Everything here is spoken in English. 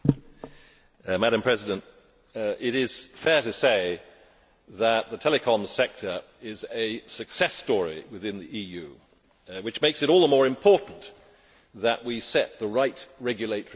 Madam President, it is fair to say that the telecoms sector is a success story within the EU, which makes it all the more important that we set the right regulatory framework.